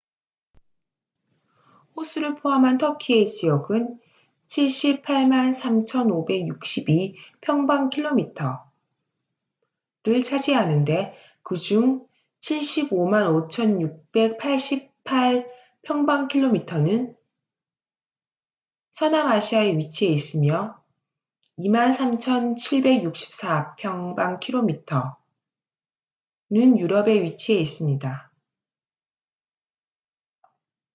호수를 포함한 터키의 지역은 783,562 평방킬로미터300,948 제곱 마일를 차지하는데 그중 755,688 평방킬로미터는291,773 제곱 마일 서남아시아에 위치해 있으며 23,764 평방킬로미터9,174 제곱 마일는 유럽에 위치해 있습니다